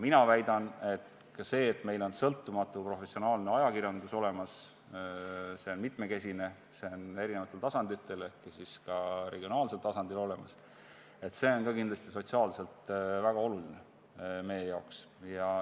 Mina väidan, et ka see, et meil on sõltumatu professionaalne ajakirjandus olemas – see on mitmekesine, see on eri tasanditel ehk ka regionaalsel tasandil olemas –, on kindlasti sotsiaalselt väga oluline meie jaoks.